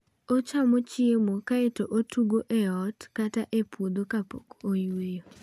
Ochamo chiemo kae to otugo e ot kata e puotho kapok oyueyo.